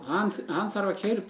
hann þarf að keyra upp